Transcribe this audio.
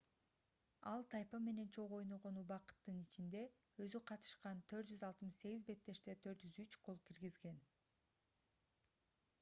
ал тайпа менен чогуу ойногон убакыттын ичинде өзү катышкан 468 беттеште 403 гол киргизген